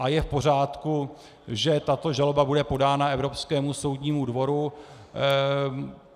A je v pořádku, že tato žaloba bude podána Evropskému soudnímu dvoru.